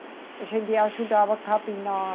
A gente ajudava a capinar.